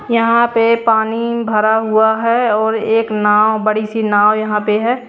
यहां पे पानी भरा हुआ है और एक नाव बड़ी सी नाव यहां पे है।